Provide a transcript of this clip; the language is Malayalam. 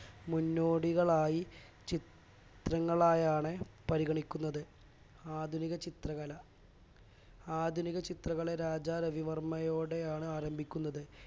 മുന്നോടികളായി ചിത്രങ്ങളായാണ് പരിഗണിക്കുന്നത് ആധുനിക ചിത്രകല ആധുനിക ചിത്രകല രാജാ രവിവർമ്മയോടെയാണ് ആരംഭിക്കുന്നത്